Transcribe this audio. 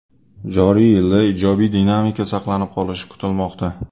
Joriy yilda ijobiy dinamika saqlanib qolishi kutilmoqda.